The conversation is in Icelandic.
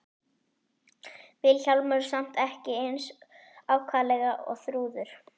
Vilhjálmur samt ekki eins ákaflega og Þrúður.